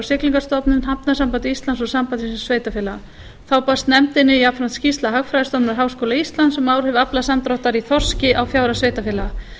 siglingastofnun hafnasambandi íslands og sambandi íslenskra sveitarfélaga þá barst nefndinni jafnframt skýrsla hagfræðistofnunar háskóla íslands um áhrif aflasamdráttar í þorski á fjárhag sveitarfélaga